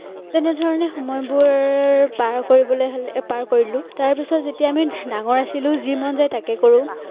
তেনেদৰে সময়বোৰ পাৰ কৰিবলৈ হলে অ পাৰ কৰিলো তাৰ পিছত যেতিয়া আমি ডাঙৰ আছিলো যি মন যায় তাকে কৰো।